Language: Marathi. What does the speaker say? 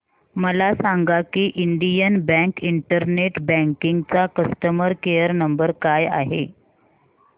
मला सांगा की इंडियन बँक इंटरनेट बँकिंग चा कस्टमर केयर नंबर काय आहे